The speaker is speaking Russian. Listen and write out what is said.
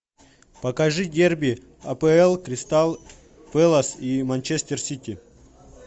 покажи дерби апл кристал пэлас и манчестер сити